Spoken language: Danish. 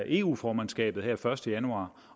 eu formandskabet den første januar